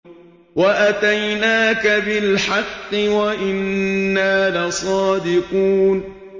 وَأَتَيْنَاكَ بِالْحَقِّ وَإِنَّا لَصَادِقُونَ